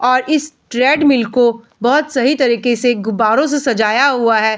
और इस ट्रेडमिल को बहोत सही तरीके से गुब्बरो से सजाया हुआ है।